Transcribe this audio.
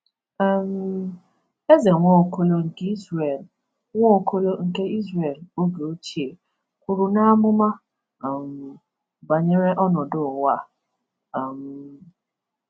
um Eze Nwaokolo nke Izrel Nwaokolo nke Izrel oge ochie kwuru n’amụma um banyere ọnọdụ ụwa a. um